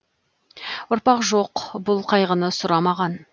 ұрпақ жоқ бұл қайғыны сұрамаған